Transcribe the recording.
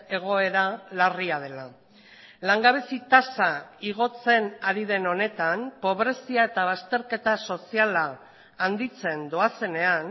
egoera larria dela langabezi tasa igotzen ari den honetan pobrezia eta bazterketa soziala handitzen doazenean